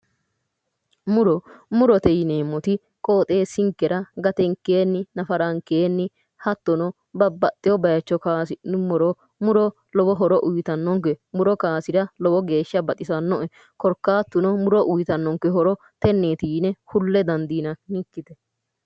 muro murote yineemmoti qooxeessinkera gatenkeenni nafarankeenni hattono babbaxino bayiicho kaasi'nummoro muro lowo horo uyiitannonke muro kaasira lowo geeshsha baxisannoe korkaatuno muro uyiitannonke horo tenneeti yine kulle dandiinannikkite.